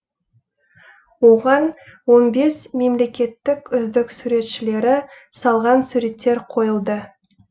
оған он бес мемлекеттік үздік суретшілері салған суреттер қойылды